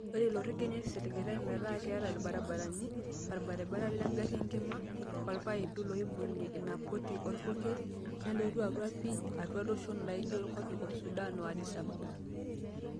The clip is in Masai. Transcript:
Oree ilo rekia nesiligitay metaa keeta ilbaribarani, olbaribara legari enkima, olpaipi looibunge ina poti olpurkeli, neloo atua pii atua iloshon laajio kopikop Sudan o Adisa Ababa.